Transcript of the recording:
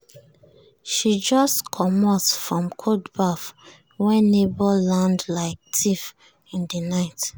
she just comot from cold baff when neighbor land like thief in the night.